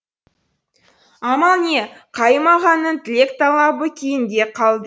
амал не қайым ағаның тілек талабы кейінге қалды